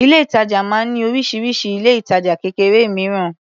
Ilé-ìtàjà máa ń ní oríṣiríṣi ilé-ìtajà kékeré mìíràn.